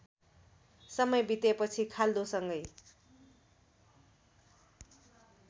समय बितेपछि खाल्डोसँगै